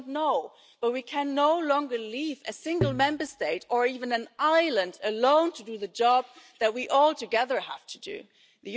We don't know, but we can no longer leave a single Member State, or even an island, alone to do the job that we have to do all together.